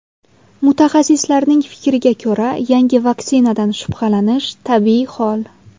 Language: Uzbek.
Mutaxassislarning fikriga ko‘ra, yangi vaksinadan shubhalanish tabiiy hol.